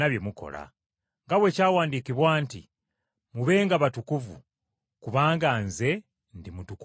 Nga bwe kyawandiikibwa nti, “Mubenga batukuvu, kubanga nze ndi mutukuvu.”